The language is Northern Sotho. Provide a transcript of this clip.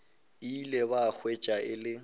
ile ba hwetša e le